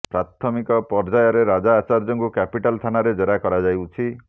ପ୍ରାଥମିକ ପର୍ଯ୍ୟାୟରେ ରାଜା ଆଚାର୍ଯ୍ୟଙ୍କୁ କ୍ୟାପିଟାଲ ଥାନାରେ ଜେରା କରାଯାଉଛି